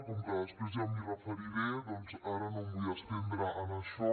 com que després ja m’hi referiré doncs ara no em vull estendre en això